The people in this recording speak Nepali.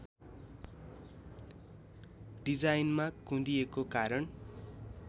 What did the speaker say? डिजाइनमा कुँदिएको कारण